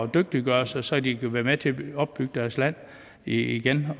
dygtiggøre sig så de kan være med til at opbygge deres land igen